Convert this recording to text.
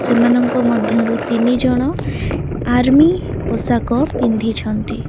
ସେମାନଙ୍କ ମଧ୍ୟରୁ ତିନି ଜଣ ଆର୍ମି ପୋଷାକ ପିନ୍ଧିଛନ୍ତି।